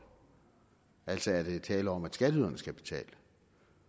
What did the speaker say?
altså er der tale om at skatteyderne skal betale